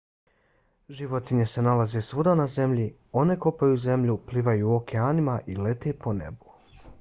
životinje se nalaze svuda na zemlji. one kopaju zemlju plivaju u okeanima i lete po nebu